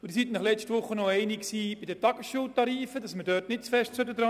Sie waren sich letzte Woche einig, dass die Tagesschultarife nicht gross verändert werden sollen.